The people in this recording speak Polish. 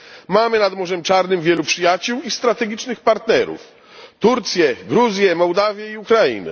Mamy nad Morzem Czarnym wielu przyjaciół i strategicznych partnerów Turcję, Gruzję, Mołdawię i Ukrainę.